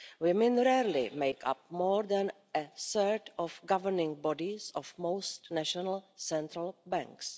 Women rarely make up more than a third of the governing bodies of most national central banks.